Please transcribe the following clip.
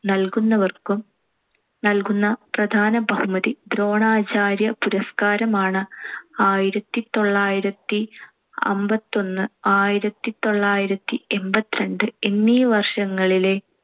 നൽകുന്നവർക്കും നൽകുന്ന പ്രധാന ബഹുമതി ദ്രോണാചാര്യ പുരസ്കാരമാണ്‌. ആയിരത്തിത്തൊള്ളായിരത്തി അമ്പത്തിയൊന്ന്, ആയിരത്തിത്തൊള്ളായിരത്തി എൺപത്തിരണ്ട്‍ എന്നീ വർഷങ്ങളിലെ